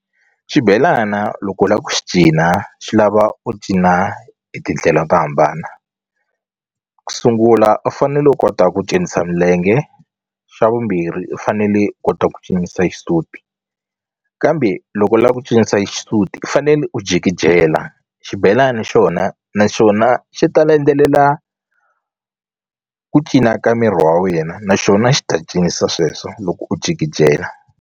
Xibelana loko u lava ku xi cina xi lava u cina hi tindlela to hambana. Ku sungula u fanele u kota ku cinisa milenge xa vumbirhi u fanele u kota ku cinisa xisuti kambe loko u lava ku cinisa xisuti u fanele u jikijela xibelani xona na xona xi ta landzelela ku cinca ka miri wa wena na xona xi ta cinisa sweswo loko u jikijela.